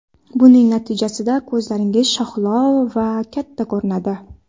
Buning natijasida ko‘zlaringiz shahlo va katta ko‘rinadi.